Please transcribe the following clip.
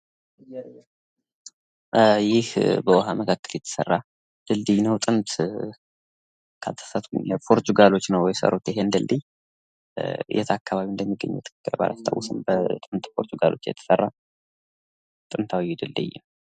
ይህ በዉሃ መካከል የተሰራ ድልድይ ነው ፤ በጥንት ፖርቹጋሎች ናቸው የሰሩት ይሄን ድልድይ ፤ የት አከባቢ እንደሆነ ባላስታውስም ፤በጥንት ፖርቹጋሎች የተሰራ ድልድይ ነው።